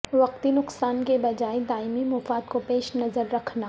وقتی نقصا ن کے بجا ے د ائمی مفا د کو پیش نظر ر کھنا